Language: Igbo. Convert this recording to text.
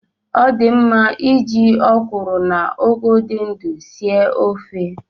Ọ di mma iji ọ kwụrụ na ụgụ dị ndụ sie ofe.